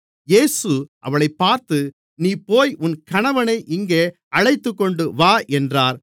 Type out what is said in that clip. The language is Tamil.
இயேசு அவளைப் பார்த்து நீ போய் உன் கணவனை இங்கே அழைத்துக்கொண்டுவா என்றார்